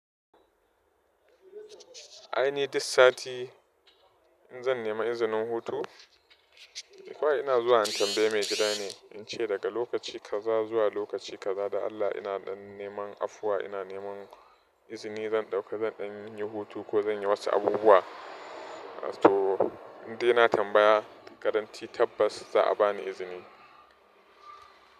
Ai ni dik sati in zan nema izinin hutu? Kawai ina zuwa in tambayi maigida ne, in ce daga lokaci kaza zuwa lokaci kaza dan Allah ina ɗan neman afuwa ina neman izini zan ɗauka zan ɗani yin hutu ko zan yi wasu abubuwa. To indai na tambaya guaranti tabbas za a bani izini.